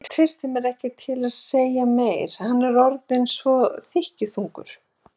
Ég treysti mér ekki til að segja meira, hann var orðinn svo þykkjuþungur.